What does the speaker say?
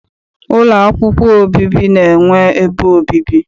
Ụlọ akwụkwọ obibi na-enwe ebe obibi.